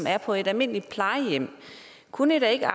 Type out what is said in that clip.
er på et almindeligt plejehjem kunne i da ikke